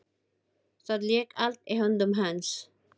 Það lék allt í höndum hans.